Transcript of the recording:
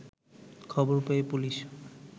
খবর পেয়ে পুলিশ